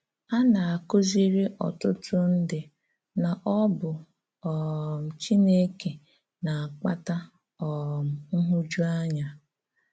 Á na-akụ́zìrí ọ̀tụtụ̀ ndí na ọ bụ um Chìnékè na-akpàtà um nhụ̀jụ̀áńyà.